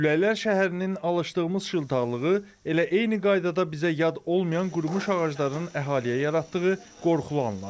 Küləklər şəhərinin alışdığımız şıltaqlığı elə eyni qaydada bizə yad olmayan qurumuş ağacların əhaliyə yaratdığı qorxulu anlar.